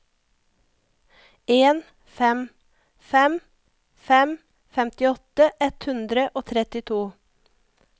en fem fem fem femtiåtte ett hundre og trettito